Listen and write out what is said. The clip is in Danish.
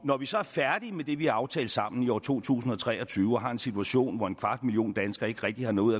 når vi så er færdige med det vi har aftalt sammen i år to tusind og tre og tyve og har en situation hvor en kvart million danskere ikke rigtig har noget ud